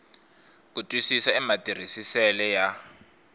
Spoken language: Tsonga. ku twisisa ka matirhisisele ya